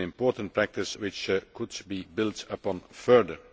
This is an important practice which could be built upon further.